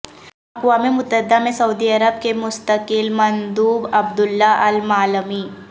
اقوام متحدہ میں سعودی عرب کے مستقل مندوب عبداللہ المعلمی